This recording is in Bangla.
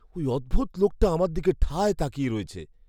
ওই অদ্ভুত লোকটা আমার দিকে ঠায় তাকিয়ে রয়েছে।